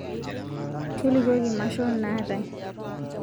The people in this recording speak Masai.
tolikioki maashon naatae